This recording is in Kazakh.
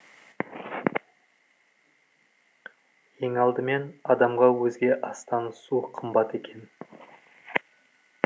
ең алдымен адамға өзге астан су қымбат екен